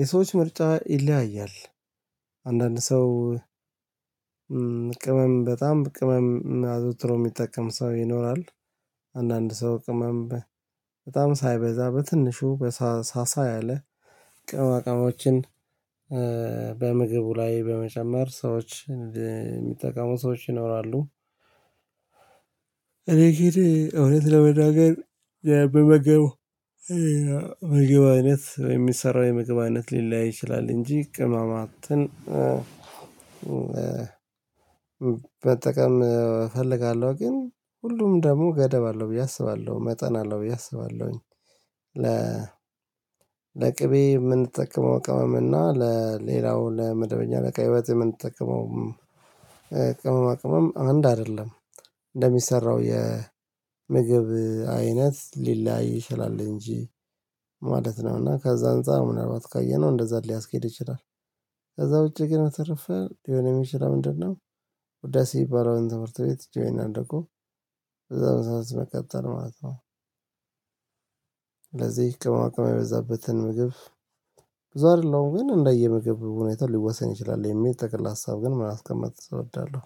የሰዎች ምርጫ ይለያያል አንዳንድ ሰው ቅመም በጣም ቅመም አዘውትሮ የሚጠቀም ሰው ይኖራል አንዳንድ ሰው ቅመም በጣም ሳይበዛ በትንሹ ሳሳ ያለ ቅመማቅመሞችን በምግቡ ላይ በመጨመር ሰዎች የሚጠቀሙ ሰዎች ይኖራሉ። እኔ ጊዜ እውነት ለመናገር በምመገበው ምግብ አይነት የሚሰራው የምግብ አይነት ሊለያይ ይችላል እንጂ ቅማማትን በጠቀም እፈልጋለሁ ግን ሁሉም ደግሞ ገደብ አለው ብዬ አስባለሁ መጠን አለው ብዬ አስባለሁኝ። ለ ለቅቤ የምንጠቀመው ቀመም እና ለሌላው ለመደበኛ ለቀይ ወጥ የምንጠቅመው ቅመማ ቅመም አንድ አይደለም እንደሚሰራው የምግብ አይነት ሊለያይ ይችላል እንጂ ማለት ነው። እና ከዛ አንፃር ምናልባት ካየነው እንደዛ ሊያስኬድ ይችላል ከዛ ውጪ ግን ተርፈር ሊሆን የሚችል ምንድነው? ውዳሴ ሲባለው የተመረተ ቤት ጆይን አደረጉ በዛው መሳሳት በቀጠል ማለት ነው። ለዚህ ቅመማቅመም የበዛበትን ምግብ ብዙ አይደለሁም ግን እንደየ ምግብ ሁኔታው ሊወሰን ይችላል የሚል ጠቅል ሀሳብ ግን ምን አስቀምጥ እወዳለሁ።